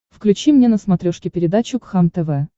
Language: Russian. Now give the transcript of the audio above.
включи мне на смотрешке передачу кхлм тв